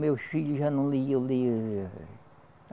Meu filho já não lia, eu leio.